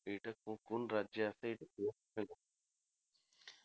এটা কো কোন রাজ্যে আসে এইটা